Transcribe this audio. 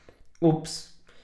Ups!